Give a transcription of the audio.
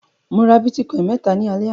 Mo ra bítíkọ́ìn mẹ́ta ní alẹ́ àná.